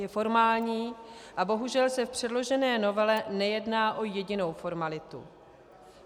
Je formální - a bohužel se v předložené novele nejedná o jedinou formalitu.